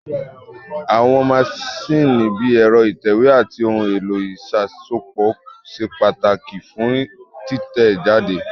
Àwọn maṣíìnì bíi ẹ̀rọ ìtẹ̀wé àti ohun èlò ìṣàsopọ̀ ṣe pàtàkì fún títẹ̀ jáde